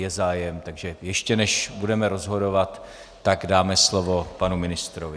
Je zájem, takže ještě než budeme rozhodovat, tak dáme slovo panu ministrovi.